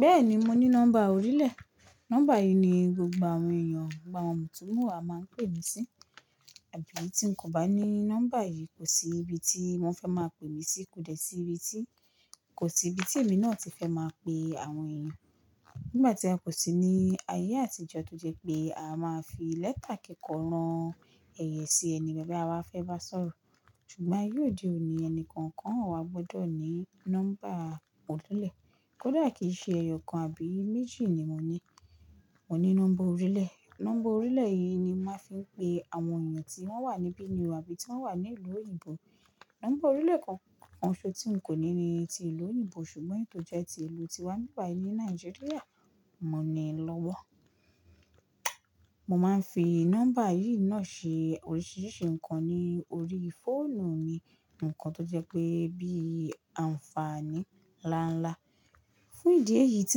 Bẹ́ẹ̀ni mo ní nọ́mbà orílẹ̀. Nọ́mbà yìí ni gbogbo àwọn èèyàn, gbogbo àwọn mutúmuwa máa ń pè mí sí. Àbí tí n kò bá ní nọ́mbà yìí, kò sí ibi tí wọ́n fẹ́ máa pe mí sí, kò dẹ̀ sí ibi tí kò sí ibi tí èmi náà ti fẹ́ máa pe àwọn èèyàn. Nígbà tí a kò sì ní ayé àtijọ́, tójẹ́ pé a máa fi lẹ́tà kikọ̀ rán ẹ̀yẹ sí ẹni ti a fẹ́ bá sọ̀rọ̀. Ṣùgbọ́n ayé òde òní ẹni kọ̀ọ̀kan wa gbọ́dọ̀ ní nọ́mbà orílẹ̀. Kódà kìí ṣe ẹyọ kan àbí méjì ni mo ní. Mo ní nọ́mbà orílẹ̀. Nọ́mbà orílẹ̀ yìí ni máa fi ń pe àwọn èèyàn tí wọ́n wà níbí ni o, abí tí wọ́n wà ní ìlú òyìnbó. Nọ́mbà orílẹ̀ kan kan ṣo tí n kò ní ní ti ìlú òyìnbó, ṣùgbọ́n èyí to jẹ́ ti ìlú tiwá ní bibàyí ní Nàìjíríà, mo níi lọ́wọ́. Mo máa ń fi nọ́mbà yìí náà ṣe oríṣìíríṣìí ǹkan ní orí fóònù mi, ǹkan tó jẹ́ pé bíi àǹfààní láńlá. Fún ìdí èyí tí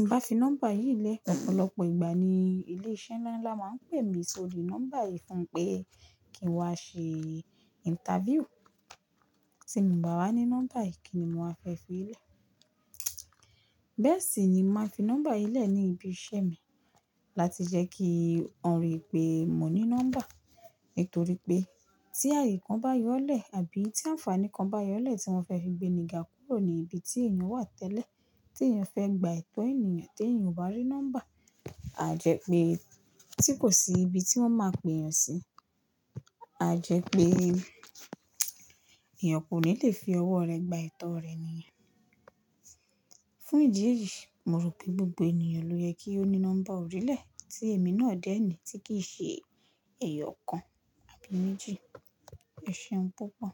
n bá fi nọ́mbà yìí lẹ̀, ọ̀pọ̀lọpọ̀ ìgbà ni ilé iṣẹ́ nlánlá máa ń pè mí sórí nọ́mbà yìí fún pé kí n wá ṣe interview. Tí mo bá wà ní nọ́mbà yìí kìní mo wà fẹ́ fi lẹ̀. Bẹ́ẹ̀ sì ni màá fi nọ́mbà yìí lẹ̀ ní ibi iṣẹ́ mi láti jẹ́ kí wọ́n rí pé mo ní nọ́mbà. Nítorí pé tí ààyè kan bá yọlẹ̀ àbí tí àǹfààní kan bá yọlẹ̀ tí wọ́n fẹ́ fi gbémiga kúrò ní ibi tí èèyàn wà tẹ́lẹ̀, tí èèyàn fẹ́ gba etọ̀ ènìyàn tí èèyàn ò bá rí nọ́mbà, a jẹ́ pé tí kò sí ibi tí wọ́n máa pe èèyàn sí, a jẹ́ pé èèyàn kò ní lè fi ọwọ́ rẹ̀ gba etọ̀ rẹ̀ nìyẹn. Fún ìdí èyí, mo rò pé gbogbo èèyàn ló yẹ kí ó ní nọ́mbà orílẹ̀ tí èmi náà dé ní tí kì í ṣe ẹyọkan àbí méjì. E ṣeun púpọ̀